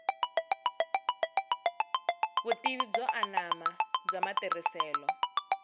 vutivi byo anama bya matirhiselo